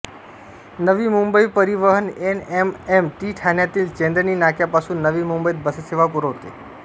नवी मुंबई परिवहन N M M T ठाण्यातील चेंदणी नाक्यापासून नवी मुंबईत बससेवा पुरवते